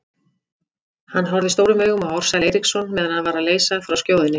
Hann horfði stórum augum á Ársæl Eiríksson meðan hann var að leysa frá skjóðunni.